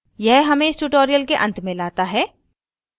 यह हमें इस tutorial के अंत में लाता है